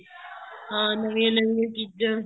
ਹਾਂ ਨਵੀਂਆਂ ਨਵੀਆਂ ਚੀਜ਼ਾਂ